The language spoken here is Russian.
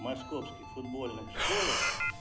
в московских футбольных школах